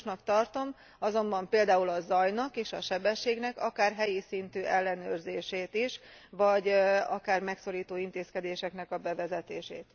Fontosnak tartom azonban például a zajnak és a sebességnek akár helyi szintű ellenőrzését is, vagy akár megszorító intézkedéseknek a bevezetését.